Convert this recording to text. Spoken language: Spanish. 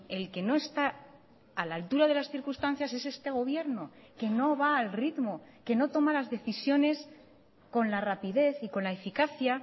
el que no está a la altura de las circunstancias es este gobierno que no va al ritmo que no toma las decisiones con la rapidez y con la eficacia